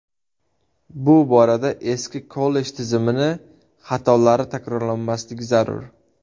Bu borada eski kollej tizimi xatolari takrorlanmasligi zarur.